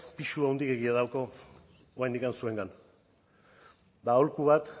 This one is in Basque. pisu handiegia dute oraindik zuengan eta aholku bat